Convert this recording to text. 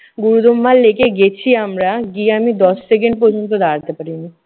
গুরুমমাল লেকে গেছি আমরা, গিয়ে আমি দশ second প্রর্যন্ত দাঁড়াতে পারিনি।